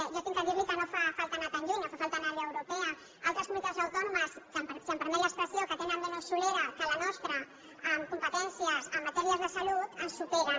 jo he de dir li que no fa falta anar tan lluny no fa falta anar a l’europea altres comunitats autònomes que si em permet l’expressió tenen menys solera que la nostra en competències en matèries de salut ens superen